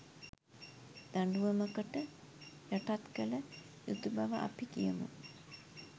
දඬුවමකට යටත් කළ යුතු බව අපි කියමු